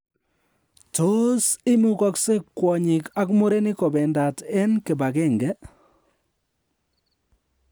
Tos imugokse kwonyik ak murenik kobendat en kibagenge?